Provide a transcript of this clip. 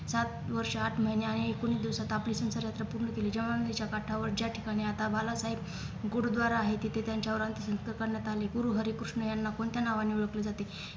सात वर्ष आठ महिने आणि एकोणीस दिवसात आपले संसारयात्रा पूर्ण केली ज्या नदीच्या काठावर ज्या ठिकाणी आता बालासाहेब गुरुद्वारा आहे तिथे त्यांच्यावर अंत्यसंस्कार करण्यात आले गुरुहरिकृष्ण यांना कोणत्या नावाने ओळखले जाते